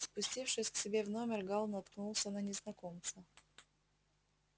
спустившись к себе в номер гаал наткнулся на незнакомца